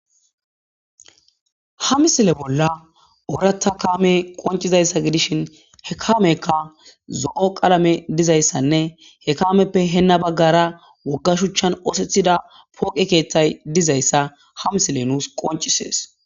ha misile bolla oorata kaame qoncizayssa gidishin he kamekka zo7o qalame dizayssanne he kaameppe heenna baggara wogga shuchchan oosethida pooqe keeththay dizayssa ha misile nuus qoncisees